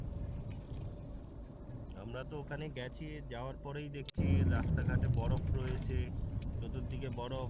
আমরা তো ওখানে গ্যাছি যাওয়ার পরেই দেখছি রাস্তা ঘটে বরফ রয়েছে চতুর্দিকে বরফ